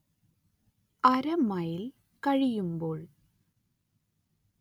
അര മൈൽ കഴിയുമ്പോൾ